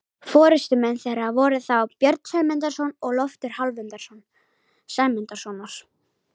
Forystumenn þeirra voru þá Björn Sæmundarson og Loftur Hálfdanarson Sæmundarsonar.